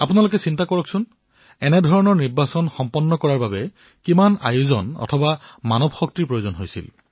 আপুনি কল্পনা কৰিব পাৰে এই প্ৰকাৰৰ নিৰ্বাচন সম্পন্ন কৰোৱাৰ বাবে কিমান বৃহৎ পৰ্যায়ৰ সংসাধন আৰু মানৱশক্তিৰ প্ৰয়োজন হব